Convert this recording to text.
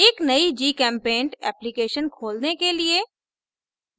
एक नयी gchempaint application खोलने के लिए